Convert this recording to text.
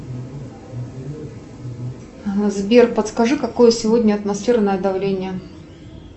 сбер подскажи какое сегодня атмосферное давление